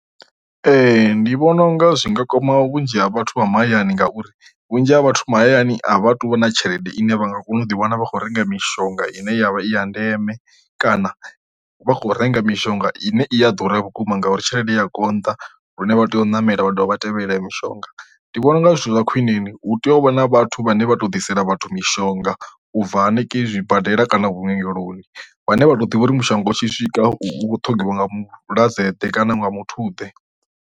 Ee ndi vhona unga zwi nga kwama vhunzhi ha vhathu vha mahayani ngauri vhunzhi ha vhathu mahayani a vha tu vha na tshelede ine vha nga kona u ḓiwana vha khou renga mishonga ine yavha i ya ndeme, kana vha kho renga mishonga ine i a ḓura vhukuma ngauri tshelede ya konḓa lune vha tea u namela vha dovha vha tevhelela ya mishonga. Ndi vhona unga zwithu zwa khwiṋeni hu tea u vha na vhathu vhane vha to ḓisela vhathu mishonga ubva hanengei zwibadela kana vhuongeloni vhane vha to ḓivha uri mushonga u tshi swika vhuṱhongwa nga mulwadze ḓe kana nga muthu ḓe.